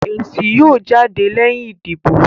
Èsì yóò jáde lẹ́yìn ìdìbò